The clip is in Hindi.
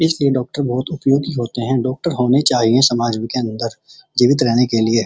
इसलिए डॉक्टर बहोत उपयोगी होते हैं डॉक्टर होने चाहिए के समाज के अंदर जीवित रहने के लिए।